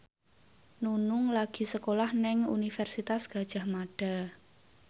Nunung lagi sekolah nang Universitas Gadjah Mada